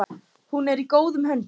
Hún er í góðum höndum.